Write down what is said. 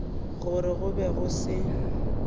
gore go be go se